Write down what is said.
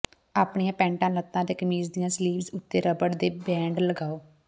ਆਪਣੀਆਂ ਪੈਂਟ ਲੱਤਾਂ ਅਤੇ ਕਮੀਜ਼ ਦੀਆਂ ਸਲੀਵਜ਼ ਉੱਤੇ ਰਬੜ ਦੇ ਬੈਂਡ ਲਗਾਓ